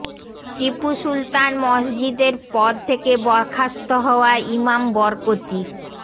টিপু সুলতান মসদিজের পদ থেকে বরখাস্ত হওয়া ইমাম বরকতি